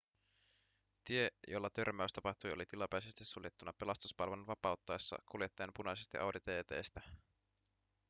tie jolla törmäys tapahtui oli tilapäisesti suljettuna pelastuspalvelun vapauttaessa kuljettajan punaisesta audi tt:stä